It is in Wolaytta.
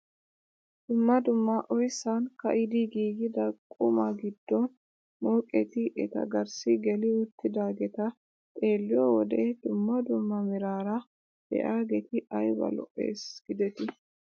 Dumma dumma oyssan ka'idi giigida qumaa giddo mooqetti eta garssi geli uttidaageta xeelliyoo wode dumma dumma meraara de'iyaageti ayba lo"ees gidetii.